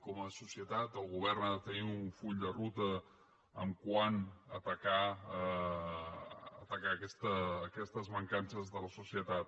com a societat el govern ha de tenir un full de ruta quant a atacar aquestes mancances de la societat